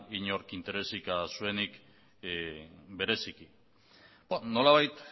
inork interesik zuenik bereziki nolabait